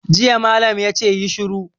Jiya malam ya ce 'Yi shiru'!